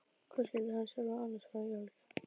Hvað skyldi hann sjálfur annars fá í jólagjöf?